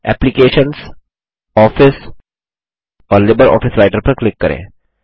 applications office और LibreOffice Writer पर click करें